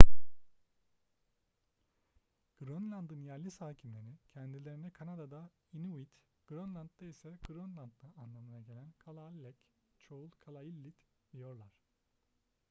grönland'ın yerli sakinleri kendilerine kanada'da inuit grönland'da ise grönlandlı anlamına gelen kalaalleq çoğul kalaallit diyorlar